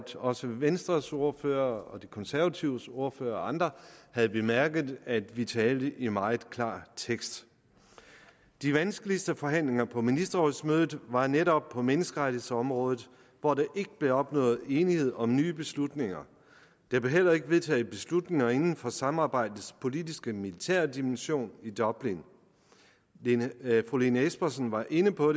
også venstres ordfører og de konservatives ordfører og andre havde bemærket at vi talte i meget klar tekst de vanskeligste forhandlinger på ministerrådsmødet var netop på menneskerettighedsområdet hvor der ikke blev opnået enighed om nye beslutninger der blev heller ikke vedtaget beslutninger inden for samarbejdets politisk militære dimension i dublin fru lene espersen var inde på